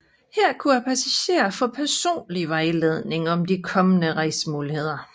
Her kunne passagerne få personlig vejledning om de kommende rejsemuligheder